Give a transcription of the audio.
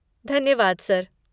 धन्यवाद सर।